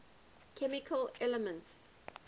chemical elements